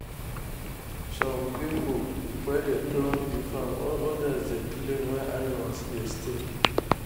some people dey plough the farm others dey clean where animals dey stay.